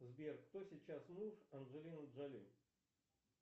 сбер кто сейчас муж анджелины джолли